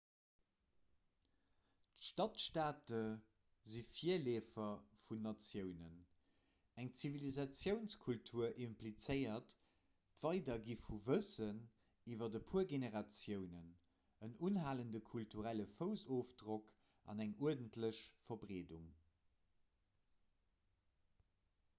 stadstaate sinn d'virleefer vun natiounen eng zivilisatiounskultur implizéiert d'weidergi vu wëssen iwwer e puer generatiounen en unhalende kulturelle foussofdrock an eng uerdentlech verbreedung